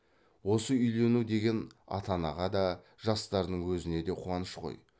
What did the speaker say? осы үйлену деген ата анаға да жастардың өзіне де қуаныш қой